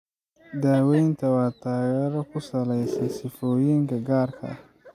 Daawaynta waa taageero ku salaysan sifooyinka gaarka ah.